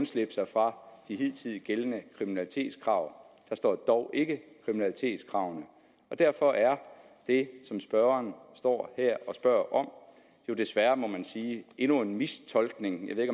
slippe for de hidtil gældende kriminalitetskrav der står dog ikke kriminalitetskravene derfor er det som spørgeren står her og spørger om jo desværre må man sige endnu en mistolkning jeg ved